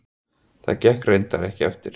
Það gekk reyndar ekki eftir.